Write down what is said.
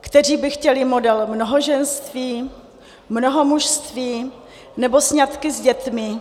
kteří by chtěli model mnohoženství, mnohomužství nebo sňatky s dětmi.